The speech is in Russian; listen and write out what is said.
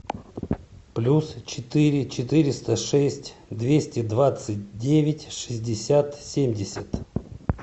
плюс четыре четыреста шесть двести двадцать девять шестьдесят семьдесят